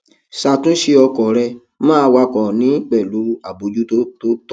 ṣàtúnṣe ọkọ rẹ máa wakọ ní pẹlú àbójútó tó tọ